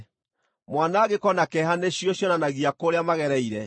mwanangĩko na kĩeha nĩcio cionanagia kũrĩa magereire,